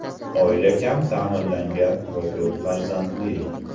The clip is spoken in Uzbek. Oila kam ta’minlangan va ko‘p farzandli.